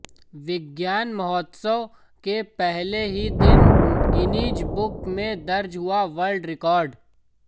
विज्ञान महोत्सव के पहले ही दिन गिनीज बुक में दर्ज हुआ वर्ल्ड रिकॉर्ड